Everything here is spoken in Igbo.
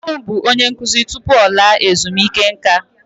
Papa m bụ onye nkụzi tupu ọ laa ezumike nká.